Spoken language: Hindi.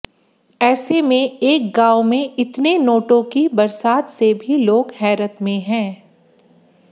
ऐसे में एक गांव में इतने नोटों की बरसात से भी लोग हैरत में हैं